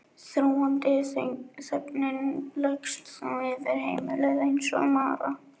Þrúgandi þögnin leggst þá yfir heimilið eins og mara.